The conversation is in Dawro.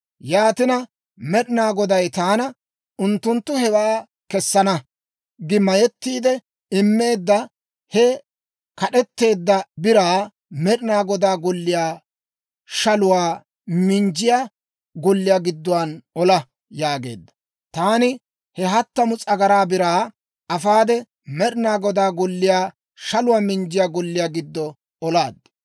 Yaatina, Med'inaa Goday taana, «Unttunttu hewaa kessana gi mayettiide immeedda he kad'eteedda biraa Med'inaa Godaa Golliyaa shaluwaa minjjiyaa golliyaa gidduwaa ola» yaageedda. Taani he hattamu s'agaraa biraa afaade, Med'inaa Godaa Golliyaa shaluwaa minjjiyaa golliyaa giddo olaad.